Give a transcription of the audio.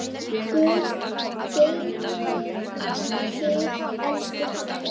Guð geymi þig, elsku pabbi.